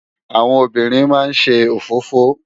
Áwòn óbìrín má n sé ófófó